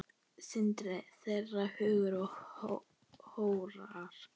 Synir þeirra Hugi og Hróar.